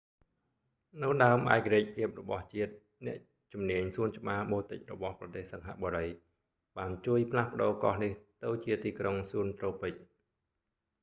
នៅដើមឯករាជ្យភាពរបស់ជាតិ អ្នកជំនាញសួនច្បារបូទិករបស់ប្រទេសសិង្ហបុរី singapore botanic gardens បានជួយផ្លាស់ប្ដូរកោះនេះទៅជាទីក្រុងសួនត្រូពិច garden city